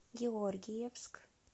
георгиевск